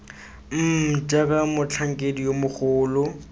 mmm jaaka motlhankedi yo mogolo